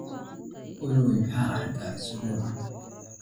olly maxaan arkaa isbuucaan